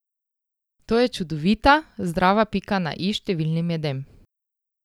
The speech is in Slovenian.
To je čudovita, zdrava pika na i številnim jedem.